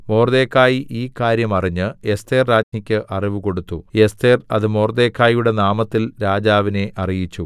മൊർദെഖായി ഈ കാര്യം അറിഞ്ഞ് എസ്ഥേർരാജ്ഞിക്കു അറിവുകൊടുത്തു എസ്ഥേർ അത് മൊർദെഖായിയുടെ നാമത്തിൽ രാജാവിനെ അറിയിച്ചു